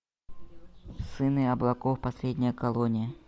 сыны облаков последняя колония